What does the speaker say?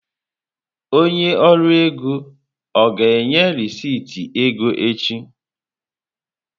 Onye ọrụ ego ọ ga-enye rịsịtị ego echi?